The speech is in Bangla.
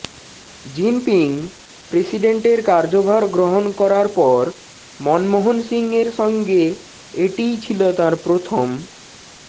জিনপিং প্রেসিডেন্টের কার্যভার গ্রহণ করার পর মনমোহন সিংয়ের সঙ্গে এটিই ছিল তাঁর প্রথম